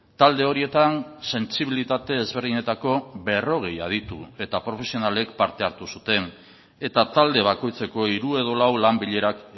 talde horietan sentsibilitate ezberdinetako berrogei aditu eta profesionalek parte hartu zuten eta talde bakoitzeko hiru edo lau lan bilerak